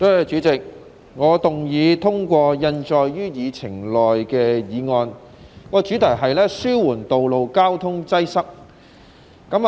主席，我動議通過印載於議程內的議案，主題是"紓緩道路交通擠塞"。